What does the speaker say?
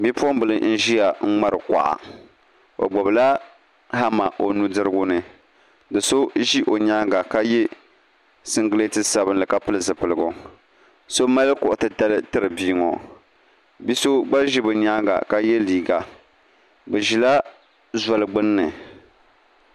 Bipuɣimbila n-ʒiya ŋmari kuɣa o gbubila hama o nudirigu ni do' so ʒi o nyaaŋa ka ye singileeti sabinli ka pili zipiligu so mali kuɣ' titali n-tiri bia ŋɔ bi' so gba ʒi bɛ nyaaŋa ka ye liiga bɛ ʒila zoli gbunni